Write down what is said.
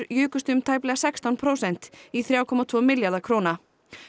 jukust um tæplega sextán prósent í þrjú komma tveggja milljarða króna